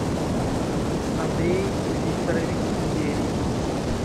андрей викторович ерий